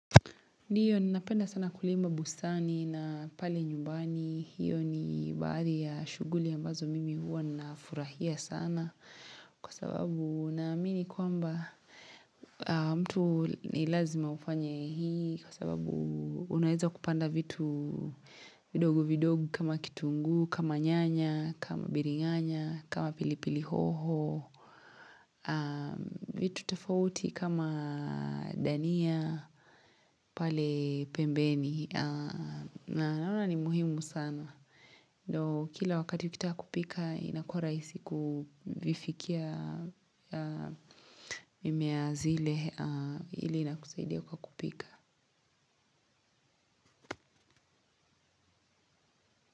Ndio ninapenda sana kulima bustani na pale nyumbani hiyo ni habari ya shughuli ambazo mimi huwa nafurahia sana kwa sababu naamini kwamba mtu ni lazima ufanye hii kwa sababu unaeza kupanda vitu vidogo vidogo kama kitunguu kama nyanya kama biringanya kama pilipili hoho vitu tofauti kama dania pale pembeni na naona ni muhimu sana Kila wakati ukitaka kupika inakua rahisi kufikia mimea zile ili inakusaidia kwa kupika.